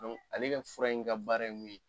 Donku ale ka fura in ka baara ye mun ye